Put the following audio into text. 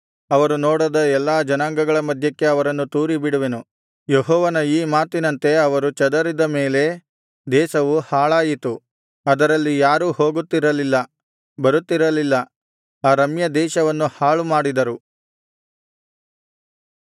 ಅವರು ನೋಡದ ಎಲ್ಲಾ ಜನಾಂಗಗಳ ಮಧ್ಯಕ್ಕೆ ಅವರನ್ನು ತೂರಿಬಿಡುವೆನು ಯೆಹೋವನ ಈ ಮಾತಿನಂತೆ ಅವರು ಚದರಿದ ಮೇಲೆ ದೇಶವು ಹಾಳಾಯಿತು ಅದರಲ್ಲಿ ಯಾರೂ ಹೋಗುತ್ತಿರಲಿಲ್ಲ ಬರುತ್ತಿರಲಿಲ್ಲ ಆ ರಮ್ಯ ದೇಶವನ್ನು ಹಾಳುಮಾಡಿದರು